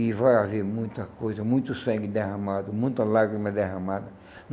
E vai haver muita coisa, muito sangue derramado, muita lágrima derramada.